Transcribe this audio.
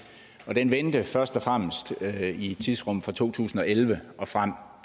for dsb den vendte først og fremmest i tidsrummet fra to tusind og elleve og frem